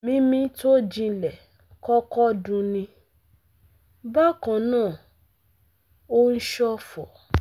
Mímí tó jinlẹ̀ kọ́kọ́ dunni, bákan náà ó ń ṣọ̀fọ̀